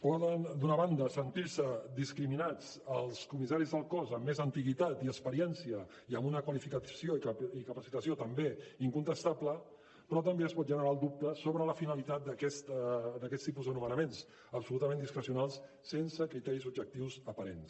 poden d’una banda sentir se discriminats els comissaris del cos amb més antiguitat i experiència i amb una qualificació i capacitació també incontestable però també es pot generar el dubte sobre la finalitat d’aquests tipus de nomenaments absolutament discrecionals sense criteris objectius aparents